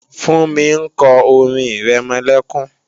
Fúnmi ń kọ́ orin-ìrẹmọlẹ́kún